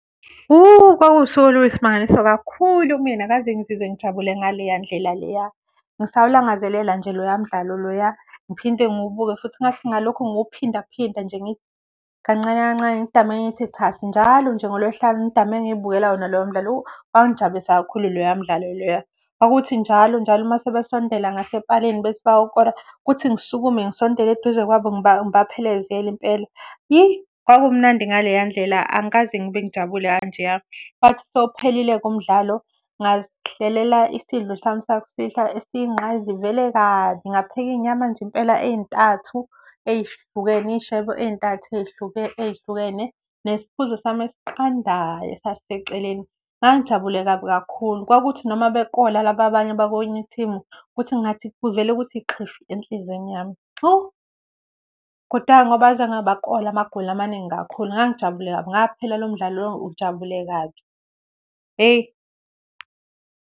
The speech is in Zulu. Kwakuwusuku oluyisimangaliso kakhulu kumina, angikaze ngizizwe ngijabule ngaleya ndlela leya. Ngisawulangazelela nje loya mdlalo loya, ngiphinde ngiwubukhe futhi. Kungathi ngalokhu ngiwuphindaphinda nje ngithi kancane kancane ngidamane ngithi thasi njalo nje ngoLwesihlanu ngidamane ngiyibukela wona loya mdlalo , wangijabulisa kakhulu loya mdlalo loya. Kwakukuthi njalo njalo uma sebesondela ngasepalini bethi bayokora, kuthi ngisukume ngisondele eduze kwabo ngibaphelezele impela, kwakumnandi ngaleya ndlela, angikaze ngibe ngijabule kanjeya. Kwathi sewuphelile-ke umdlalo ngazihlelela isidlo sami sakusihlwa esiyingqayizivelekazi, ngapheka iy'nyama nje impela ey'ntathu ey'hlukene, iy'shebo ey'ntathu ey'hlukene nesiphuzo sami esiqandayo esasiseceleni. Ngangijabule kabi kakhulu. Kwakuthi noma bekola laba abanye abakwenye ithimu kuthi kungathi, kuvele kuthi xhifi enhlizweni yami, hawu. Kodwa-ke ngoba azange bakole amagoli amaningi kakhulu ngangijabule kabi, ngaphela lo mdlalo lo ngijabule kabi, hheyi.